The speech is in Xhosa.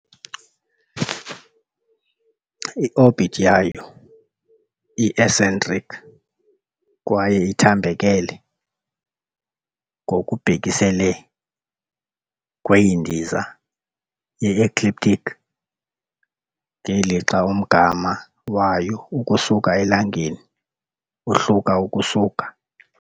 I-orbit yayo i -eccentric kwaye ithambekele ngokubhekiselele kwindiza ye-ecliptic, ngelixa umgama wayo ukusuka eLangeni uhluka ukusuka .